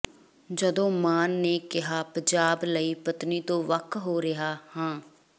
ਜਦੋਂ ਮਾਨ ਨੇ ਕਿਹਾ ਪੰਜਾਬ ਲਈ ਪਤਨੀ ਤੋਂ ਵੱਖ ਹੋ ਰਿਹਾ ਹਾਂ